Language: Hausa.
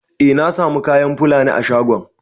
Eh na samu kayan Fulani a shagon.